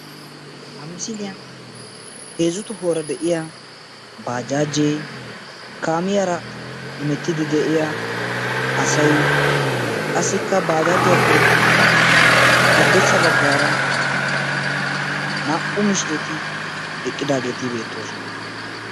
Ha misiliyan heezzu tohuwara deiya baajaaje, kaamiyara heemetidi deiya asaay, qassika baajaajiyappe haddirssa baggara naa'u miishireti eqqidageti betosona.